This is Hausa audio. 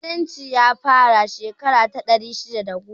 Musulunci ya fara a shekara ta ɗari shidda da goma